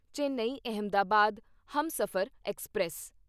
Chennai Ahmedabad Humsafar express